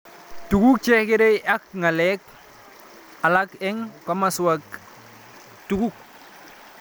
Tuguk che kerei ak ng'alek alak eng' komaswek chutok